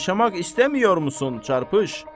Yaşamaq istəmir misin çarpış?